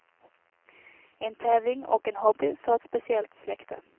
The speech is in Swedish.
En tävling och en hobby för ett speciellt släkte.